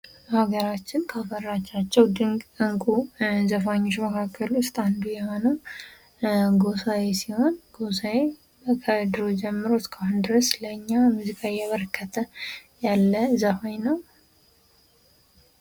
በሀገራችን ካፈራቻቸው ድንቅ እንቁጣጣሽ ዘፋኞች መካከል ውስጥ አንዱ የሆነው ጎሳዬ ሲሆን ጎሳዬ ከድሮ ጀምሮ እስካሁን ድረስ ለኛ ሙዚቃ ይያበረከተ ያለ ዘፋኝ ነው።